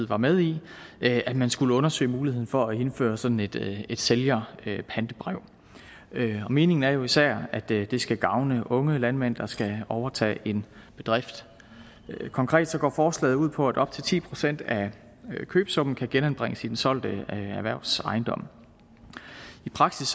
var med i at man skulle undersøge muligheden for at indføre sådan et et sælgerpantebrev meningen er jo især at det skal gavne unge landmænd der skal overtage en bedrift konkret går forslaget ud på at op til ti procent af købesummen kan genanbringes i den solgte erhvervsejendom i praksis